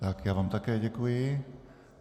Tak, já vám také děkuji.